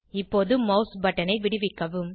இப்போது மவுஸ் பட்டனை விடுவிக்கவும்